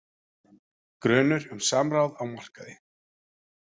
Grunur um samráð á markaði